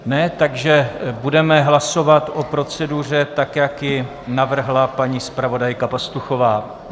Ne, takže budeme hlasovat o proceduře tak, jak ji navrhla paní zpravodajka Pastuchová.